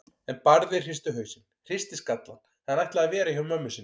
En Barði hristi hausinn, hristi skallann, hann ætlaði að vera hjá mömmu sinni.